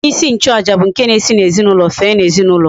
Onye isi nchu aja bu nke na esi na ezinaulo fee na ezinaulo